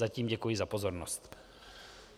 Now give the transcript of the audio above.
Zatím děkuji za pozornost.